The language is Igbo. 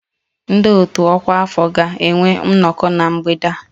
Ndị otu ọkwa afọ ga-enwe nnọkọ na mgbede a